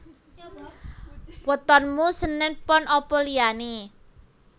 Wetonmu senen pon apa liyane